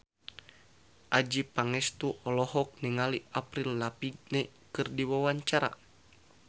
Adjie Pangestu olohok ningali Avril Lavigne keur diwawancara